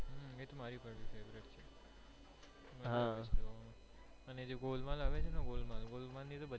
હમ એ મારી પણ favourite છે મજ્જા આવે છે જોવા માં અને જે ગોલમાલ આવે છે ને ગોલમાલ ની તો બધીજ